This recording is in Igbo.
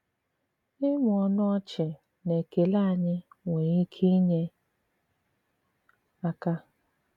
Ị̀mụ̀ ọnụ ọ̀chì na ekèlè ènỳí nwere ìkè inyè àka.